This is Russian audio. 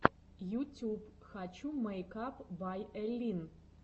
ютюб хочу мэйкап бай эллин